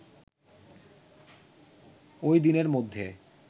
ওইদিনের মধ্যে